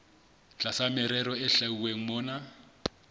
tlasa merero e hlwauweng mona